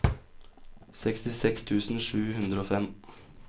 sekstiseks tusen sju hundre og fem